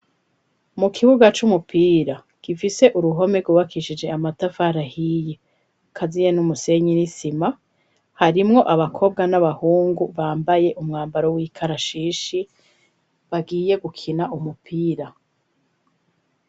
Mu kibuga c'umupira gifise uruhome ryubakishije amatafari ahiye kaziye n'umusenyi nisima, harimwo abakobwa n'abahungu bambaye umwambaro w'ikarashishi bagiye gukina umupira.